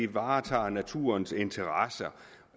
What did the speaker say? varetager naturens interesser